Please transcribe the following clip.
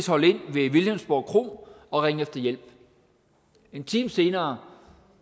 holde ind ved vilhelmsborg kro og ringe efter hjælp en time senere